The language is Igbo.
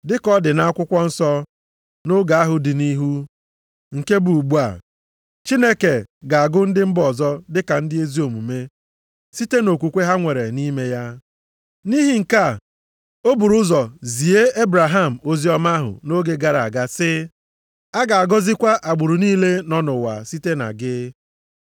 Dị ka ọ dị nʼAkwụkwọ nsọ, nʼoge ahụ dị nʼihu, nke bụ ugbu a, Chineke ga-agụ ndị mba ọzọ dị ka ndị ezi omume, site nʼokwukwe ha nwere nʼime ya. Nʼihi nke a, o buru ụzọ zie Ebraham oziọma ahụ nʼoge gara aga sị, “A ga-agọzikwa agbụrụ niile nọ nʼụwa site na gị.” + 3:8 \+xt Jen 12:3; 18:18; 22:18\+xt*